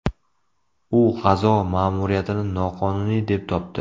U G‘azo ma’muriyatini noqonuniy deb topdi.